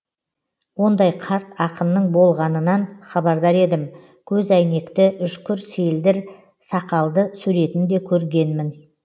ондай қарт ақынның болғанынан хабардар едім көзәйнекті үшкір селдір сақалды суретін де көргенмін